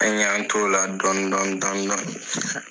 An y'an t'ola dɔni dɔni dɔni dɔni